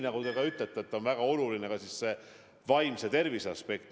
Nagu te ütlete, väga oluline on ka vaimse tervise aspekt.